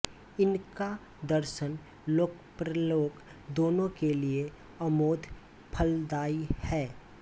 इनका दर्शन लोकपरलोक दोनों के लिए अमोघ फलदाई है